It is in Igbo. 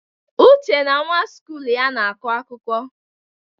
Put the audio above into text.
Uche na nwa skụl ya na-akọ akụkọ.